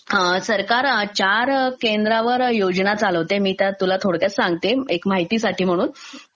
सरकार चार केंध्रावर योजना चालवते. मी त्या तुला थोडक्यात सांगते, एक माहिती साठी म्हणून.